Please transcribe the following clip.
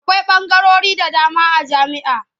Akwai ɓangarori da dama a jami'a.